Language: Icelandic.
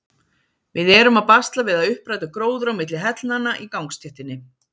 Við erum að basla við að uppræta gróður á milli hellnanna í gangstéttinni.